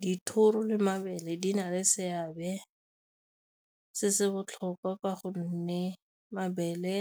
Dithoro le mabele di na le seabe se se botlhokwa ka gonne mabele